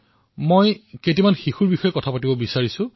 মই কেইগৰাকীমান শিশুৰ নাম উল্লেখ কৰিবলৈ বিচাৰিছো